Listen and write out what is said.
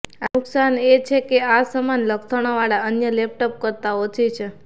આ નુકસાન એ છે કે આ સમાન લક્ષણોવાળા અન્ય લેપટોપ કરતાં ઓછી છે